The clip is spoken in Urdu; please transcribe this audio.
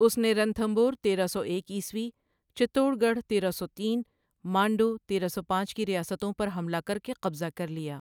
اس نے رنتھمبور تیرہ سو ایک عیسوی، چتور گڑھ تیرہ سو تین، مانڈو تیرہ سو پانچ کی ریاستوں پر حملہ کر کے قبضہ کر لیا ۔